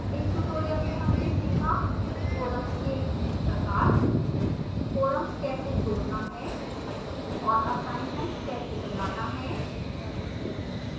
इस tutorial में हमने सीखा